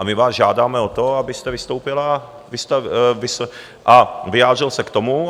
A my vás žádáme o to, abyste vystoupil a vyjádřil se k tomu.